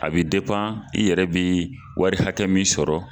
A bɛ i yɛrɛ bɛ wari hakɛ min sɔrɔ.